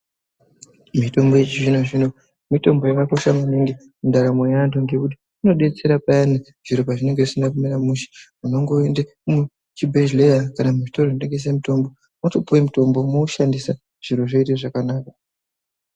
Mitombo yechizvino-zvino, mitombo yakakosha maningi mundaramo yeantu ,ngekuti inodetsera payani zviro pazvinenge zvisina kumira mushe. Unongoende muchibhedhleya, kana muchitoro chinotengesa mitombo, wotopuwa mitombo ,woushandisa zviro zvoite zvakanaka.